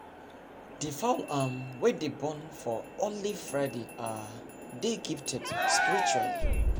the fowl um wey dey born for only friday um dey gifted spiritually